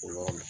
O la